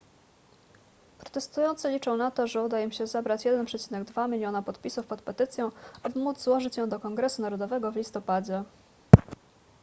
protestujący liczą na to że uda im się zebrać 1,2 miliona podpisów pod petycją aby móc złożyć ją do kongresu narodowego w listopadzie